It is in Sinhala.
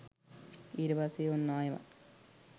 ඊට පස්සේ ඔන්න ආයෙමත්